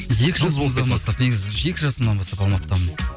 екі жыл негізі екі жасымнан бастап алматыдамын